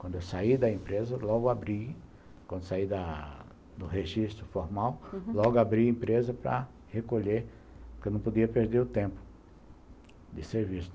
Quando eu saí da empresa, logo abri, quando saí da do registro formal, uhum, logo abri a empresa para recolher, porque eu não podia perder o tempo de serviço.